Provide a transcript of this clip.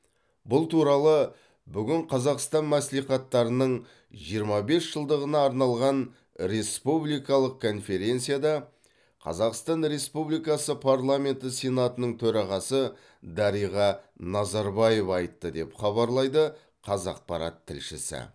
бұл туралы бүгін қазақстан мәслихаттарының жиырма бес жылдығына арналған республикалық конференцияда қазақстан республикасы парламенті сенатының төрағасы дариға назарбаева айтты деп хабарлайды қазақпарат тілшісі